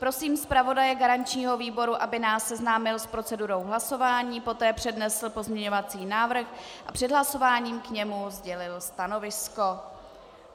Prosím zpravodaje garančního výboru, aby nás seznámil s procedurou hlasování, poté přednesl pozměňovací návrh a před hlasováním k němu sdělil stanovisko.